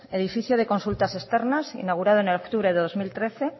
edificio de consultas externas inaugurado en octubre de dos mil trece